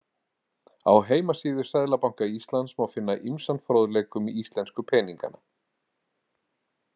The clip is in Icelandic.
Á heimasíðu Seðlabanka Íslands má finna ýmsan fróðleik um íslensku peningana.